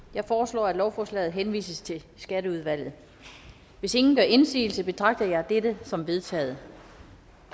jeg foreslår at lovforslaget henvises til skatteudvalget hvis ingen gør indsigelse betragter jeg dette som vedtaget